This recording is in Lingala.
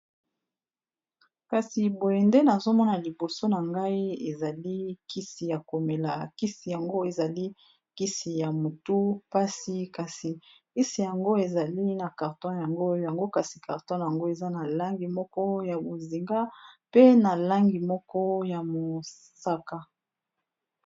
Kasi boye Nde nazali KO Mona liboso nangai kisi yakomela ebikisaka sokî mutu eza kopesa yo pasi sokî omeli yango obiki.